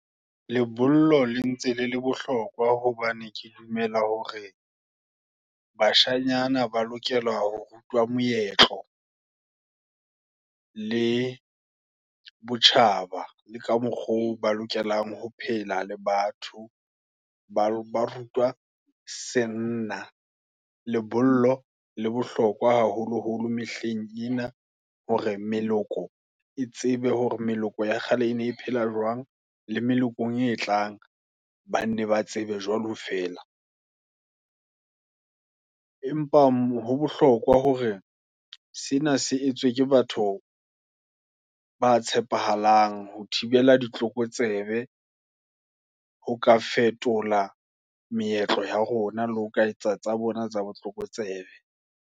Lebollo la ntse le le bohlokwa, hobane ke dumela hore, bashanyana ba lokelwa ho rutwa moetlo, le botjhaba, le ka mokgwa oo, ba lokelang ho phela le batho, ba ba rutwa senna. Lebollo le bohlokwa haholoholo mehleng ena, hore meloko, e tsebe hore meloko ya kgale, ene e phela jwang, le meleko e tlaang. Banne ba tsebe jwalo fela. Empa mo bohlokwa hore sena se etswe, ke batho ba tshepahalang, ho thibela ditlokotsebe, ho ka fetola meetlo ea rona, le ho ka etsa tsa bona tsa botlokotsebe.